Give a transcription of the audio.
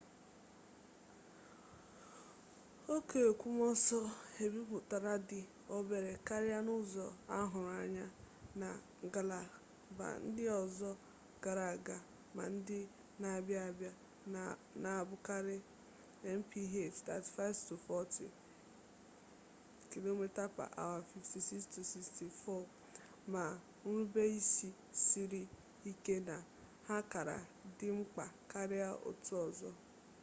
ókè ekwomọsọ ebipụtara dị obere karịa n'ụzọ ahụrụ anya na ngalaba ndị ọzọ gara aga ma ndị na-abịa abịa - na-abụkarị mph 35-40 km/h 56-64 - ma nrubeisi siri ike na ha kara dị mkpa karịa otu ọzọ